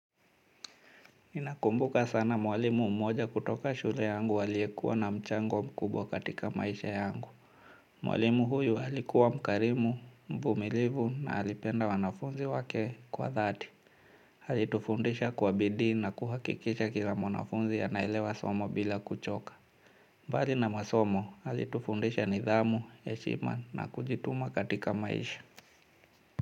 Ninamkumbuka sana mwalimu mmoja kutoka shule yangu aliyekuwa na mchango mkubwa katika maisha yangu. Mwalimu huyu alikuwa mkarimu, mvumilivu na alipenda wanafunzi wake kwa dhati. Alitufundisha kwa bidii na kuhakikisha kila mwanafunzi anaelewa somo bila kuchoka. Mbali na masomo, alitufundisha nidhamu, heshima na kujituma katika maisha.